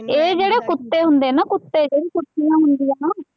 ਇਹ ਜਿਹੜੇ ਕੁੱਤੇ ਹੁੰਦੇ ਨਾ ਕੁੱਤੇ, ਜਿਹੜੀ ਕੁੱਤੀਆਂ ਹੁੰਦੀਆਂ ਨਾ,